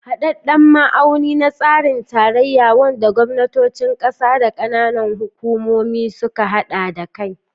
Hadadden ma'auni na tsarin tarayya, wanda gwamnatocin kasa da na kananan hukumomi suka hada kai.